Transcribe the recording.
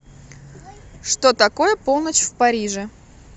что такое полночь в париже